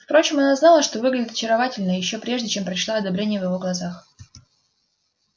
впрочем она знала что выглядит очаровательно ещё прежде чем прочла одобрение в его глазах